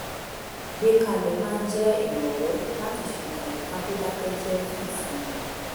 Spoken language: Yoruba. gbé kalẹ̀ máa ń jẹ́ ìrànwọ́ láti ṣètò àyíká tó dákẹ́ jẹ́ fún ìsinmi